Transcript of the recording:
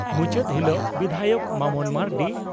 ᱢᱩᱪᱟᱹᱫ ᱦᱤᱞᱚᱜ ᱵᱤᱫᱷᱟᱭᱚᱠ ᱢᱟᱢᱚᱱ ᱢᱟᱨᱰᱤ